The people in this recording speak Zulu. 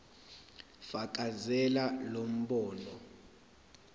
fakazela lo mbono